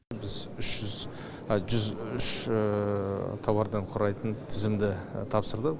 біз жүз үш тауардан құрайтын тізімді тапсырдық